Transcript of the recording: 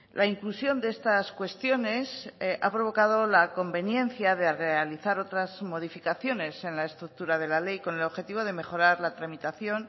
la inclusión de estas cuestiones ha provocado la conveniencia de realizar otras modificaciones en la estructura de la ley con el objetivo de mejorar la tramitación